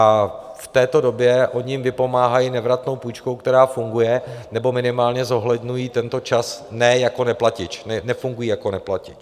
A v této době oni jim vypomáhají nevratnou půjčkou, která funguje, nebo minimálně zohledňují tento čas ne jako neplatič, nefunguje jako neplatič.